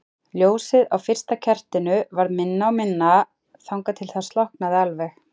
Ljósið á fyrsta kertinu varð minna og minna þangað til það slokknaði alveg.